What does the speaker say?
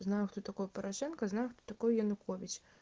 знаю кто такой порошенко знаю кто такой янукович